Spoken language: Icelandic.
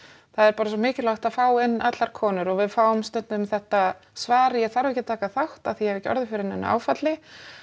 það er bara svo mikilvægt að fá inn allar konur og við fáum stundum þetta svar ég þarf ekki að taka þátt af því að ég hef ekki orðið fyrir neinu áfalli